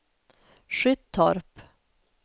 Skyttorp